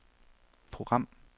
program